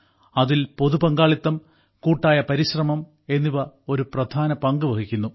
അതിൽ പൊതു പങ്കാളിത്തം കൂട്ടായ പരിശ്രമം എന്നിവ ഒരു പ്രധാന പങ്ക് വഹിക്കുന്നു